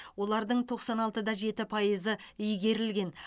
олардың тоқсан алты да жеті пайызы игерілген